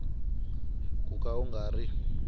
ku ka u nga ri